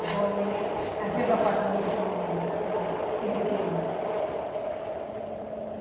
Agora ele, até para passar no chão não é mais, mas ele queima.